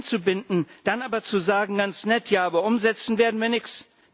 Sie einzubinden, dann aber zu sagen Ganz nett, aber umsetzen werden wir nichts.